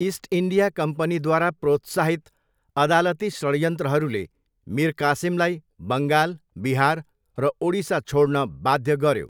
East India कम्पनीद्वारा प्रोत्साहित अदालती षड्यन्त्रहरूले मिर कासिमलाई बङ्गाल, बिहार र ओडिसा छोड्न बाध्य गऱ्यो।